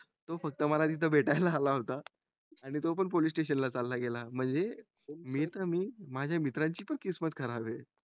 तो फक्त मला तिथे मला भेटायला आला होता आणि तो पण police station ला चाला गेला म्हणजे मी त मी माझ्या मित्रांची पण किस्मत खराब आहे